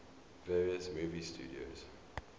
various movie studios